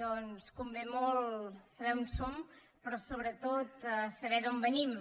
doncs convé molt saber on som però sobretot saber d’on venim